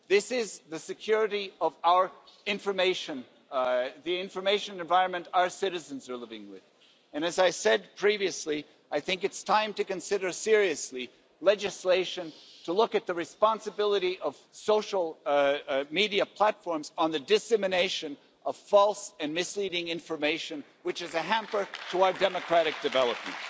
This is security of our information, the information environment our citizens are living with, and as I said previously, I think it's time to consider seriously legislation to look at the responsibility of social media platforms concerning the dissemination of false and misleading information which is a hamper to our democratic development.